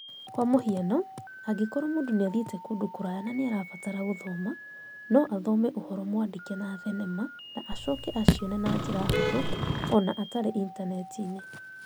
Kwa mũhiano, angĩkorũo mũndũ nĩ athiĩte kũndũ kũraya na nĩ arabatara gũthoma, no athome ũhoro mwandĩke na thenema na acoke acione na njĩra hũthũ, o na atarĩ Intaneti-inĩ.